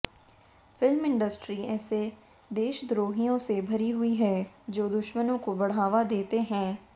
film industry ऐसे देशद्रोहियों से भरी हुई है जो दुश्मनों को बढ़ावा देते हैं